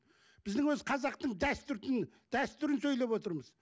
біздің өзі қазақтың дәстүрдің дәстүрін сөйлеп отырмыз